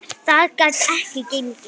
Það gat ekki gengið.